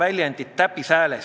Aitäh, austatud eesistuja!